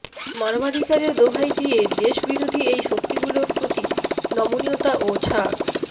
মানবাধিকারের দোহাই দিয়ে দেশবিরোধী এই শক্তিগুলোর প্রতি নমনীয়তা ও ছাড়